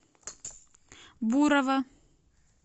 бурова